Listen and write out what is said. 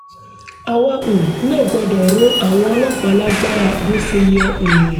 àwa um náà gbọ́dọ̀ ro àwọn ọlọ́pàá lágbára bó ṣe yẹ um